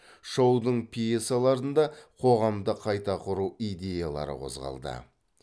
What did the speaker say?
шоудың пьесаларында қоғамды қайта құру идеялары қозғалды